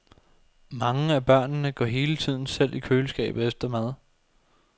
Mange af børnene går hele tiden selv i køleskabet efter mad.